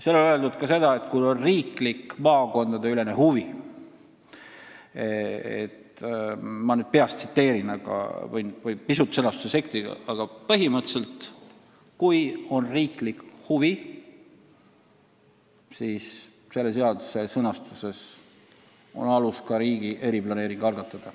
Seal on öeldud ka seda, et kui on riiklik maakondadeülene huvi – ma nüüd peast tsiteerin ja võin pisut sõnastuses eksida –, siis on alus riigi eriplaneering algatada.